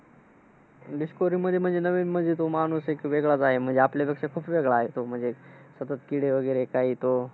Discovery मध्ये म्हणजे नवीन म्हणजे. तो माणूस एक वेगळाच आहे. म्हणजे आपल्यलापेक्षा खूप वेगळा आहे तो म्हणजे, सतत किडे वगैरे कायतो,